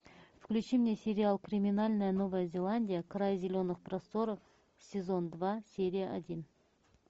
включи мне сериал криминальная новая зеландия край зеленых просторов сезон два серия один